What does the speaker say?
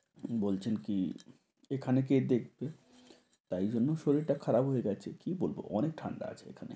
বলছেন কি? এখানে কে দেখবে তাই জন্য শরীর টা খারাপ হয়ে গেছে কি বলব ঠান্ডা আছে ওখানে।